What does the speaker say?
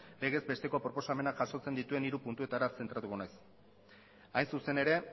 legezbesteko proposamena jasotzen dituen hiru puntuetara zentratuko naiz hain zuzen ere